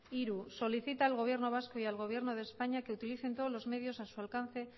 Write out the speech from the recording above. tres solicita al gobierno vasco y al gobierno de españa que utilicen todos los medios a su alcance